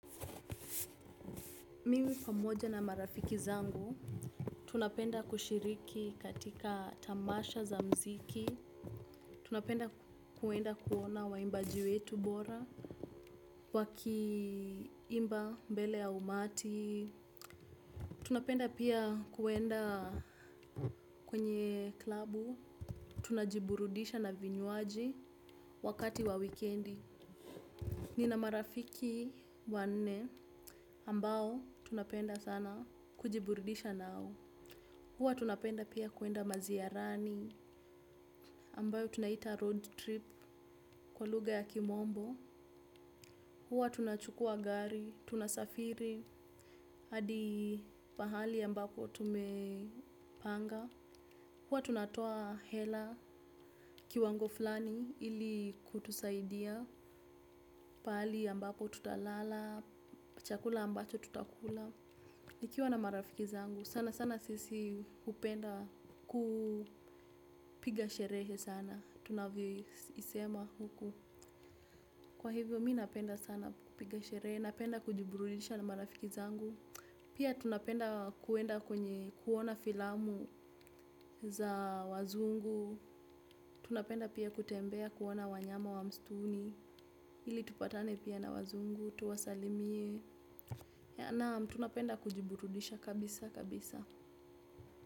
Mimi pamoja na marafiki zangu, tunapenda kushiriki katika tamasha za mziki, tunapenda kuenda kuona waimbaji wetu bora, waki imba mbele ya umati, tunapenda pia kuenda kwenye klabu, tunajiburudisha na vinywaji wakati wa wikendi. Nina marafiki wanne ambao tunapenda sana kujiburudisha nao. Huwa tunapenda pia kuenda maziarani ambayo tunaita road trip kwa lugha ya kimombo. Huwa tunachukua gari, tunasafiri, hadi pahali ambako tumepanga. Huwa tunatoa hela kiwango fulani ili kutusaidia. Pahali ambako tutalala, chakula ambacho tutakula. Ikiwa na marafiki zangu, sana sana sisi hupenda kupiga sherehe sana, tunavyo isema huku. Kwa hivyo mi napenda sana kupiga sherehe, napenda kujiburudisha na marafiki zangu. Pia tunapenda kuenda kwenye kuona filamu za wazungu, tunapenda pia kutembea kuona wanyama wa msituni, ili tupatane pia na wazungu, tuwasalimie, naam tunapenda kujiburudisha kabisa kabisa.